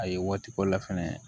A ye waati k'o la fɛnɛ